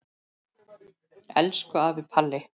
Elsku afi Palli.